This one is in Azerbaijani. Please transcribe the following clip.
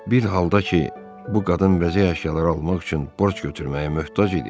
Bir halda ki, bu qadın bəzək əşyaları almaq üçün borc götürməyə möhtac idi.